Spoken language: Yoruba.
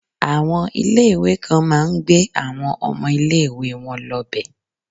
Àwọn ilé ìwé kan máa ń gbé àwọn ọmọ ilé ìwé wọn lọ bẹ̀.